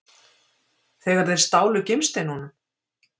Þegar þeir stálu gimsteinunum?